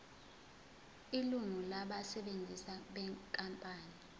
ilungu labasebenzi benkampani